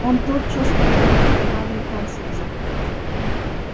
он тотчас потребовал каналью француза